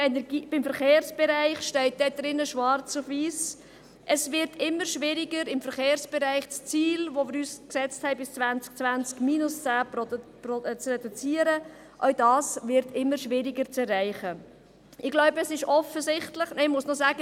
Auch zum Verkehrsbereich steht dort schwarz auf weiss, dass es immer schwieriger wird, das Ziel, das wir uns bis 2020 gesetzt haben, zu erreichen, nämlich eine Reduktion um 10 Prozent.